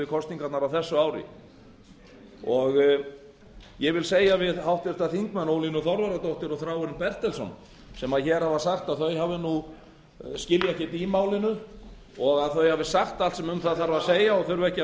kosningarnar á þessu ári ég vil segja við háttvirtan þingmann ólínu þorvarðardóttur og þráinn bertelsson sem hér hafa sagt að þau skilji ekkert í málinu og þau hafi sagt allt það sem það þarf að